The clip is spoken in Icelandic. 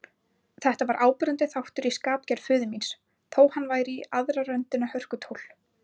Þetta var áberandi þáttur í skapgerð föður míns, þó hann væri í aðra röndina hörkutól.